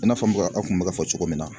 I n'a fɔ n bɛ ka an kun bɛ k'a fɔ cogo min na.